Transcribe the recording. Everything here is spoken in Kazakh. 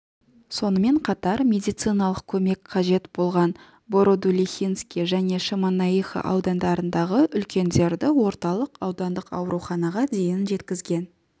сонымен қатар медициналық көмек қажет болған бородулихинский және шемонаихина аудандарындағы үлкендерді орталық аудандық ауруханаға дейін жеткізген